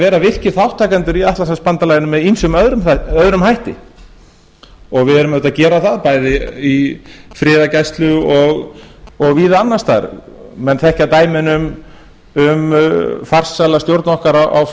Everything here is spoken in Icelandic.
vera virkir þátttakendur í atlantshafsbandalaginu með ýmsum öðrum hætti og við erum auðvitað að gera það bæði í friðargæslu og víða annars staðar menn þekkja dæmin um farsæla stjórn okkar á